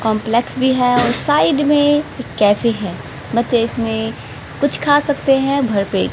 Complex भी है और साइड में एक कैफे है बच्चे इसमें कुछ खा सकते हैं भर पेट।